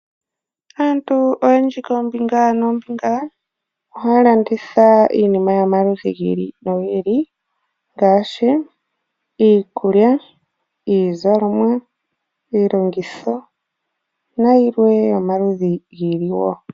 Aantu oyendji koombinga noombinga ohaya landitha iinima yomaludhi gi ili nogi ili ngaashi iikulya, iizalomwa, iilongitho nayilwe yomaludhi gi ili wo.